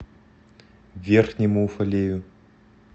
верхнему уфалею